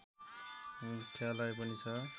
मुख्यालय पनि छ